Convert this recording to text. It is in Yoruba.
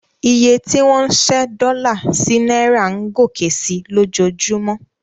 Iye tí wọ́n ń ṣẹ́ dọ́là sí náírà ń gòkè sí i lójoojúmọ́.